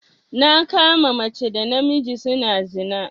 Na kama mace da namiji suna zina.